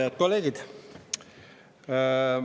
Head kolleegid!